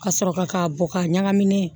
Ka sɔrɔ ka bɔ k'a ɲagamin